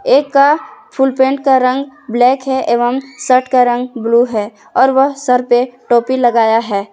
एक का full pant का रंग ब्लैक है एवं शर्ट का रंग ब्लू और वह सर पे टोपी लगाया है।